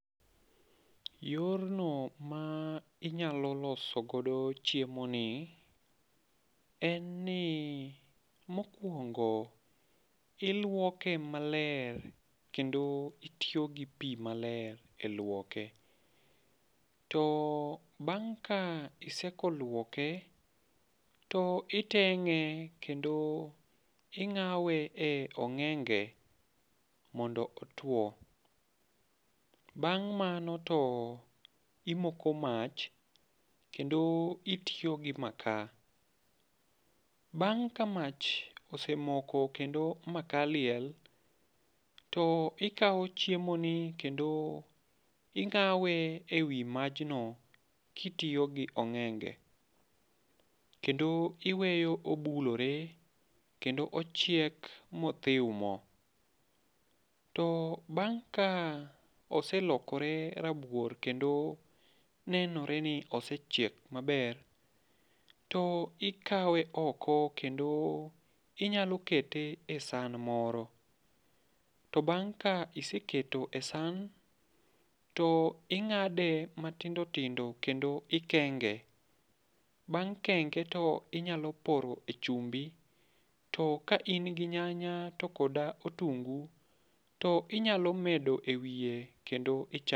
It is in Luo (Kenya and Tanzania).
Yorno ma inyalo loso godo chiemoni en ni mokuongo iluoke maler kendo itiyogi pi maler elwoke. Bang' ka iseko luoke, to iteng'e kendo ing'awe e ong'enge mondo otuo. Bang' mano to imoko mach kendo itiyo gi makaa, bang' ka mach semoko kendo makaa liel to ikawo chiemoni kendo ing'awe ewi majno kitiyo gi ong'enge. Kendo iweyo obulore kendo ochiek ma othiw mo. To bang' ka oselokore rabuor kendo nenore ni osechiek maber to ikawe oko kendo inyalo kete esan moro to bang' ka iseketo e san to ing'ade matindo tindo kendo ikenge. Bang' kenge to inyalo pore chumbi to ka in gi nyanya kod otungu to inyalo medo ewiye kendo ich.